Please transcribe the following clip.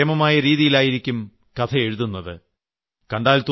അവർ അത്രയും കേമമായ രീതിയിൽ ആയിരിക്കും കഥെയഴുതുന്നത്